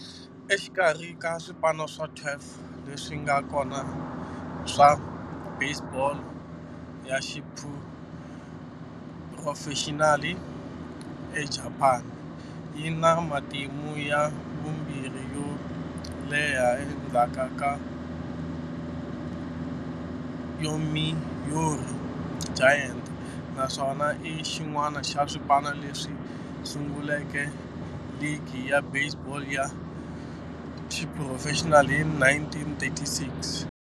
Exikarhi ka swipano swa 12 leswi nga kona swa baseball ya xiphurofexinali eJapani, yi na matimu ya vumbirhi yo leha endzhaku ka Yomiuri Giants, naswona i xin'wana xa swipano leswi sunguleke ligi ya baseball ya xiphurofexinali hi 1936.